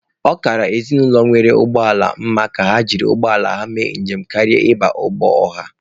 Ọ kara ezinụlọ nwere ụgbọ ala mma na ha ji ụgbọala ha mee njem karịa ịba ụgbọ ọha.